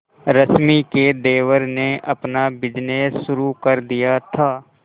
रश्मि के देवर ने अपना बिजनेस शुरू कर दिया था